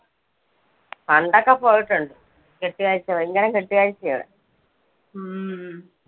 പണ്ടൊക്കെ പോയിട്ടുണ്ട്. കെട്ടുകാഴ്ച. ഭയങ്കരം കെട്ടുകാഴ്ചയാ അവിടെ.